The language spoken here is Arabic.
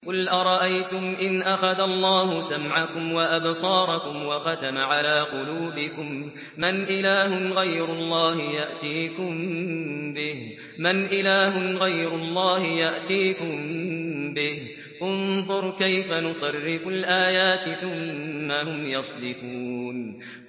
قُلْ أَرَأَيْتُمْ إِنْ أَخَذَ اللَّهُ سَمْعَكُمْ وَأَبْصَارَكُمْ وَخَتَمَ عَلَىٰ قُلُوبِكُم مَّنْ إِلَٰهٌ غَيْرُ اللَّهِ يَأْتِيكُم بِهِ ۗ انظُرْ كَيْفَ نُصَرِّفُ الْآيَاتِ ثُمَّ هُمْ يَصْدِفُونَ